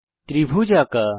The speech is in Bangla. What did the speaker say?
ত্রিভুজ আঁকা